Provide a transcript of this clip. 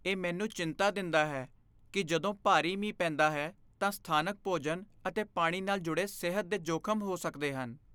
ਇਹ ਮੈਨੂੰ ਚਿੰਤਾ ਦਿੰਦਾ ਹੈ ਕਿ ਜਦੋਂ ਭਾਰੀ ਮੀਂਹ ਪੈਂਦਾ ਹੈ ਤਾਂ ਸਥਾਨਕ ਭੋਜਨ ਅਤੇ ਪਾਣੀ ਨਾਲ ਜੁੜੇ ਸਿਹਤ ਦੇ ਜੋਖ਼ਮ ਹੋ ਸਕਦੇ ਹਨ।